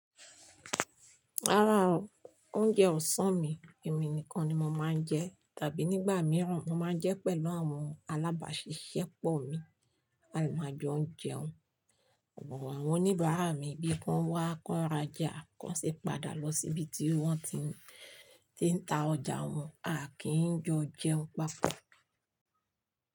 Rárá o, oúnjẹ ọ̀sán mi èmi nìkan ni mo máa ń jẹ tàbí nígbà mìíràn mo máa ń jẹ pẹ̀lú àwọn alábàáṣiṣẹ́pọ̀ mi. A lè máa jọ ń jẹun. Àwọn oníbàárà mi bí ki wọn wá kọ́ń ra já kọ́ń ṣì padà lọ síbi tí wọ́n ti, tí ń ta ọjà wọn, a kì í jọ jẹun papọ̀.